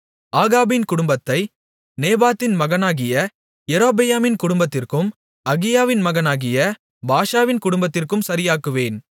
ஆகாபின் குடும்பத்தை நேபாத்தின் மகனாகிய யெரொபெயாமின் குடும்பத்திற்கும் அகியாவின் மகனாகிய பாஷாவின் குடும்பத்திற்கும் சரியாக்குவேன்